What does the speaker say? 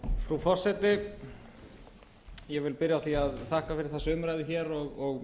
frú forseti ég byrja á því að þakka fyrir þessa umræðu hér og